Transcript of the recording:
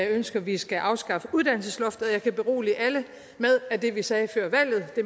ønsker at vi skal afskaffe uddannelsesloftet jeg kan berolige alle med at det vi sagde før valget